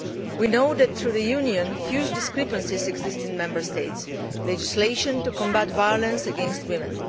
We know that, throughout the Union, huge discrepancies exist in Member States' legislation to combat violence against women.